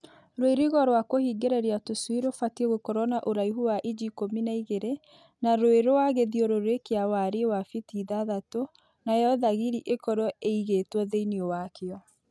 Rũirigo rwa kũhingĩrĩria tũcui rũbatiĩ gũkorwo na uraihu wa inji ikũmi na igĩrĩ na rwĩ rwa gĩthiũrũrĩ kĩa wariĩ wa biti ithatatũ nayo thagiri ĩkorwo ĩigĩtwo thĩinĩ wakĩo.